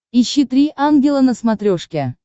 ищи три ангела на смотрешке